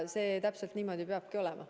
Täpselt niimoodi see peabki olema.